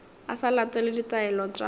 a sa latele ditaelo tša